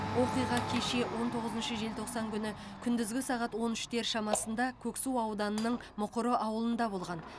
оқиға кеше он тоғызыншы желтоқсан күні күндізгі сағат он үштер шамасында көксу ауданының мұқыры ауылында болған